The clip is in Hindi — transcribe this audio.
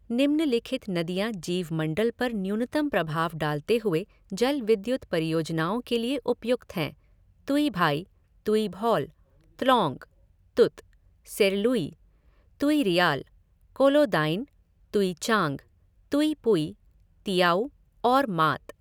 निम्नलिखित नदियाँ जीवमंडल पर न्यूनतम प्रभाव डालते हुए जल विद्युत परियोजनाओं के लिए उपयुक्त हैं तुइभाइ, तुइभौल, त्लौंग, तुत, सेरलुइ, तुइरियाल, कोलोदाइन, तुइचांग, तुइपुइ, तियाउ और मात।